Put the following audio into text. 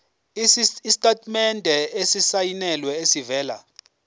isitatimende esisayinelwe esivela